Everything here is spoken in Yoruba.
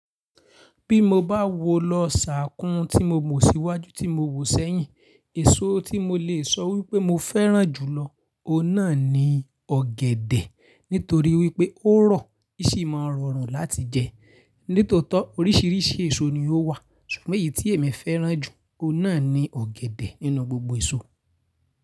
Bí mo bá wo lọ ṣàkún tí mo mọ̀ síwájú tí mo wò sẹ́yìn, èso tí mo lè sọ wípé mo fẹ́ràn jùlọ, ọ náà ni ọ̀gẹ̀dẹ̀ nítorí wípé ó rọ̀, í sì máa ń rọrùn láti jẹ. Nítòótó oríṣìíríṣìí èso ni ó wà, ṣùgbọ́n èyí tí èmi fẹ́ràn jù, ọ náà ni ọ̀gẹ̀dẹ̀ nínú gbogbo èso.